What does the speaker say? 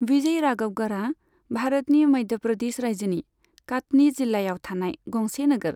विजय राघवगढ़आ भारतनि मध्य प्रदेश रायजोनि काटनी जिल्लायाव थानाय गंसे नोगोर।